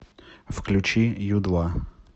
включи ю два